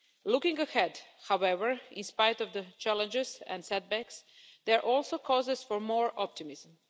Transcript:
Looking ahead, however, in spite of the challenges and setbacks, there are also causes for more optimism.